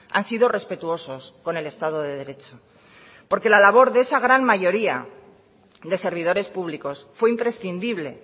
han sido respetuosos con el estado de derecho porque la labor de esa gran mayoría de servidores públicos fue imprescindible